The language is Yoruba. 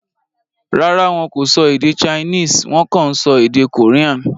Rárá, wọn kò sọ èdè Chinese; Wọ́n kàn ń sọ èdè Korean.